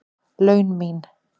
laun mín.